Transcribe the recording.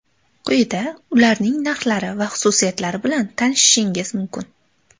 Quyida ularning narxlari va xususiyatlari bilan tanishishingiz mumkin.